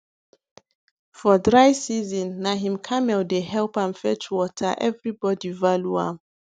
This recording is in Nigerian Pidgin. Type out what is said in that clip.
for dry season na him camel dey help am fetch water everybody value am